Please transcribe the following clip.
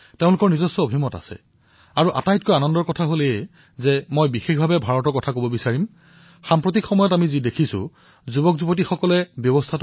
তেওঁলোকৰ নিজা বিকল্পও আছে আৰু তাতোকৈ ডাঙৰ কথা এয়ে যে বিশেষকৈ ভাৰতৰ বিষয়ে মই কব বিচাৰিম আজিকালি যি যুৱচামক আমি প্ৰত্যক্ষ কৰো তেওঁলোকে প্ৰণালীক পচন্দ কৰে